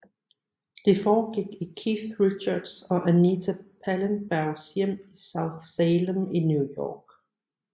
Det forgik i Keith Richards og Anita Pallenbergs hjem i South Salem i New York